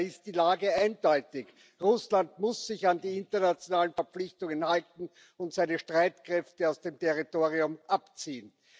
Daher ist die Lage eindeutig Russland muss sich an die internationalen Verpflichtungen halten und seine Streitkräfte aus dem Territorium abziehen.